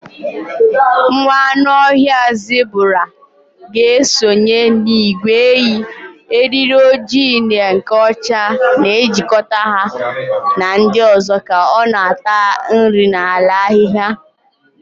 Nwa anụ ọhịa zebura ga-esonye n'ìgwè ehi, eriri ojii na nke ọcha na-ejikọta ya na ndị ọzọ ka ọ na-ata nri n'ala ahịhịa.